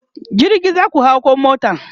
jirgi zaku hau koh mota?